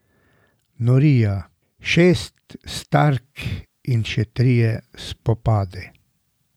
Norija, šest stark in še trije spopadi.